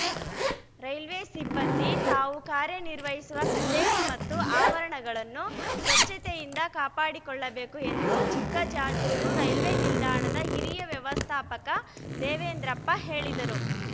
railway ಸಿಬ್ಬಂದಿ ತಾವು ಕಾರ್ಯನಿರ್ವಹಿಸುವ ಕಚೇರಿ ಮತ್ತು ಆವರಣಗಳನ್ನು ಸ್ವಚ್ಛತೆಯಿಂದ ಕಾಪಾಡಿಕೊಳ್ಳಬೇಕು ಎಂದು ಚಿಕ್ಕಜಾಜೂರು ರೈಲ್ವೆ ನಿಲ್ದಾಣದ ಹಿರಿಯ ವ್ಯವಸ್ಥಾಪಕ ದೇವೇಂದ್ರಪ್ಪ ಹೇಳಿದರು